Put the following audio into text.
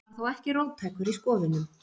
Hann var þó ekki róttækur í skoðunum.